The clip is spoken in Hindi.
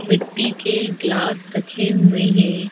मिट्टी के गिलास रखे हुए हैं।